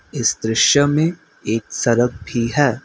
इस दृश्य में एक सड़क भी है।